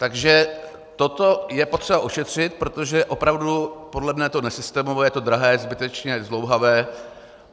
Takže toto je potřeba ošetřit, protože opravdu podle mne je to nesystémové, je to drahé, zbytečné zdlouhavé.